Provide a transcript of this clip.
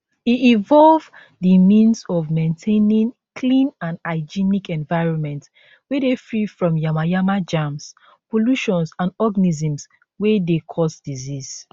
e involve di means of maintaining clean and hygienic environment wey dey free from yamayama germs pollutions and organisms wey dey cause disease